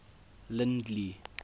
lindley